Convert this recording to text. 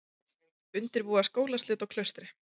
Undirbúa skólaslit á Klaustri